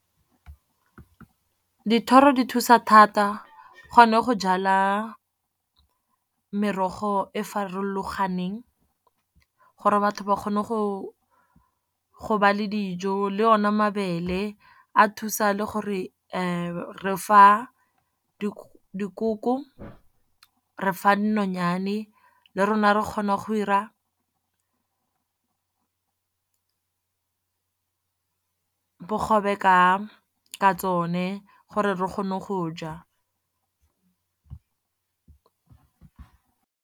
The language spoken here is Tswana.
Dithoro di thusa thata gonne go jala merogo e farologaneng, gore batho ba kgone go ba le dijo. Le o ne mabele a thusa le gore re fa dikoko, re fa dinonyane, le rona re kgona go dira bogobe ka ka tsone gore re kgone go ja.